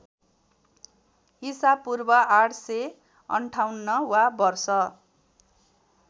ईपू ८५८ वा वर्ष